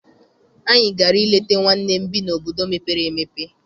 Anyị gara I leta nwanne m bi n'obodo mepere emepe.